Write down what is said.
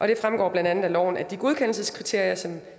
det fremgår blandt andet af loven at de godkendelseskriterier som